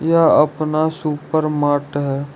यह अपना सुपरमार्ट है।